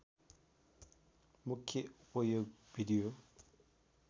मुख्य उपयोग भिडियो